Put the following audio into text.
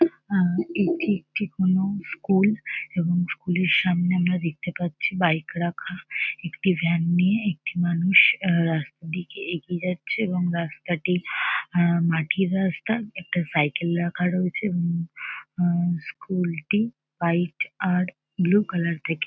এটি একটি কোনো স্কুল এবং স্কুল এর সামনে আমরা দেখতে পাচ্ছি বাইক রাখা। একটি ভ্যান নিয়ে একটি মানুষ রাস্তার দিকে এগিয়ে যাচ্ছে এবং রাস্তাটি মাটির রাস্তা একটা সাইকেল রাখা রয়েছে। হুম হুম স্কুল টি হোয়াইট আর ব্লু কালার দেখে।